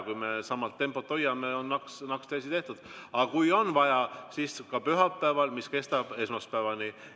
Kui sama tempot hoiame, siis on naksti asi tehtud, aga kui on vaja, siis tuleb ka pühapäeval istung, mis kestab esmaspäevani.